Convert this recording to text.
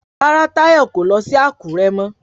Rárá Táyọ̀ kò lọ sí Àkúré mọ